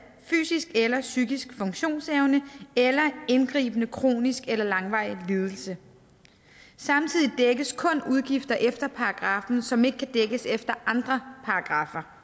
fysisk eller psykisk funktionsevne eller indgribende kronisk eller langvarig lidelse samtidig dækkes kun udgifter efter paragraffen som ikke kan dækkes efter andre paragraffer